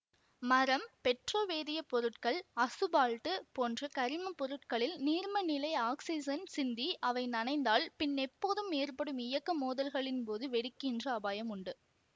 மரம் பெட்ரோ வேதியப் பொருட்கள் அசுபால்ட்டு போன்ற கரிமப் பொருட்களில் நீர்மநிலை ஆக்சிசன் சிந்தி அவை நனைந்தால் பின்னெப்போதும் ஏற்படும் இயக்க மோதல்களின்போது வெடிக்கின்ற அபாயம் உண்டு